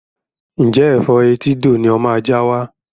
Ǹjẹ́ Ẹ̀fọ́ etídò ni ó máa já wá?